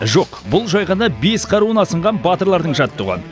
жоқ бұл жай ғана бес қаруын асынған батырлардың жаттығуы